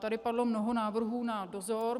Tady padlo mnoho návrhů na dozor.